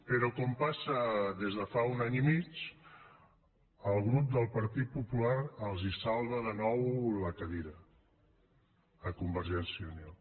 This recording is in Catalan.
però com passa des de fa un any i mig el grup del partit popular de catalunya els salva de nou la cadira a convergència i unió